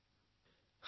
অভ্যাস কৰোঁ আহক